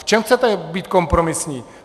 V čem chcete být kompromisní?